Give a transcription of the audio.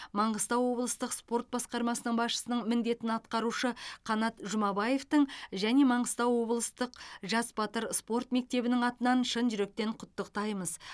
маңғыстау облыстық спорт басқармасының басшысының міндетін атқарушы қанат жұмабаевтың және маңғыстау облыстық жас батыр спорт мектебінің атынан шын жүректен құттықтаймыз